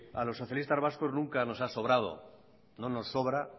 a los socialistas vascos nunca nos ha sobrado no nos sobra